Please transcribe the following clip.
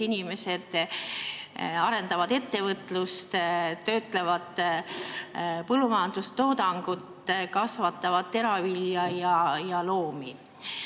Inimesed arendavad ettevõtlust, töötlevad põllumajandussaadusi, kasvatavad teravilja ja loomi.